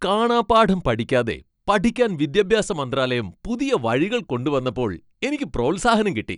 കാണാപ്പാഠം പഠിക്കാതെ പഠിക്കാൻ വിദ്യാഭ്യാസ മന്ത്രാലയം പുതിയ വഴികൾ കൊണ്ടുവന്നപ്പോൾ എനിക്ക് പ്രോത്സാഹനം കിട്ടി .